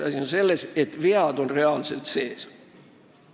Asi on selles, et seal on reaalsed vead sees.